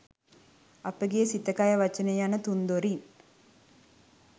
අපගේ සිත කය වචනය යන තුන්දොරින්